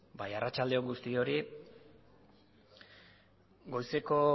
bai arratsalde on guztioi goizeko